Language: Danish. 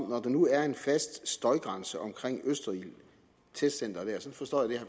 når der nu er en fast støjgrænse omkring testcenteret